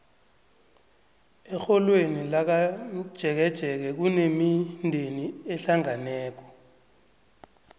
erholweni lakamtjeketjeke kunemindeni ehlangeneko